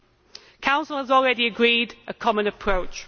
The Council has already agreed a common approach.